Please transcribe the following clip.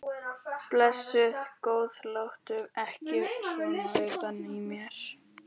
Blessuð góða, láttu ekki svona utan í mér.